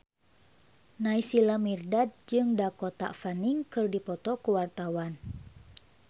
Naysila Mirdad jeung Dakota Fanning keur dipoto ku wartawan